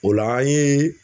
O la an ye